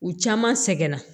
U caman sɛgɛnna